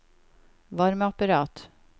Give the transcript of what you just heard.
varmeapparat